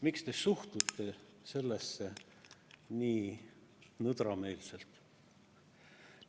Miks te suhtute sellesse nii nõdrameelselt?